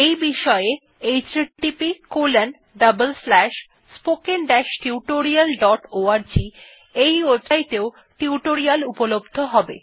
এই বিষয়ে httpspoken tutorialorg এও টিউটোরিয়াল উপলব্ধ হবে